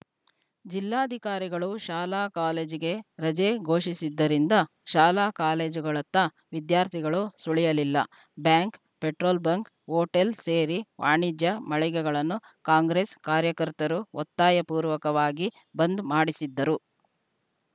ಜಿಲ್ಲಾಧಿಕಾರಿಗಳು ಶಾಲಾಕಾಲೇಜಿಗೆ ರಜೆ ಘೋಷಿಸಿದ್ದರಿಂದ ಶಾಲಾಕಾಲೇಜುಗಳತ್ತ ವಿದ್ಯಾರ್ಥಿಗಳು ಸುಳಿಯಲಿಲ್ಲ ಬ್ಯಾಂಕ್‌ ಪೆಟ್ರೋಲ್‌ ಬಂಕ್‌ ಹೋಟೆಲ್‌ ಸೇರಿ ವಾಣಿಜ್ಯ ಮಳಿಗೆಗಳನ್ನು ಕಾಂಗ್ರೆಸ್‌ ಕಾರ್ಯಕರ್ತರು ಒತ್ತಾಯ ಪೂರ್ವಕವಾಗಿ ಬಂದ್‌ ಮಾಡಿಸಿದ್ದರು